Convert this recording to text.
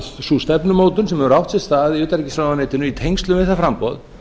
sú stefnumótun sem hefur átt sér stað í utanríkisráðuneytinu í tengslum við þetta framboð